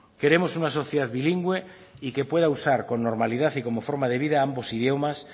queremos una sociedad bilingüe y que pueda usar con normalidad y como forma de vida ambos idiomas